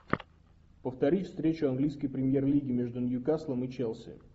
повтори встречу английской премьер лиги между ньюкаслом и челси